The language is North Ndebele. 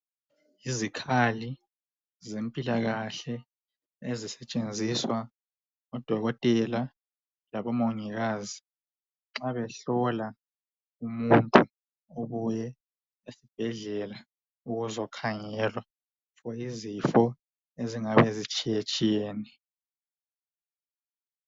Izikhali zempilakahle ezisetshenziswa ngodokotela labomongikazi nxa behlola umuntu obuye esibhedlela kuzokhangelwa izifo ezingabe ezitshiyetshiyene.